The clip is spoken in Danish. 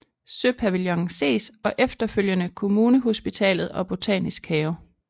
Søpavillonen ses og efterfølgende Kommunehospitalet og Botanisk have